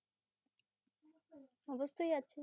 অবশ্যই আছে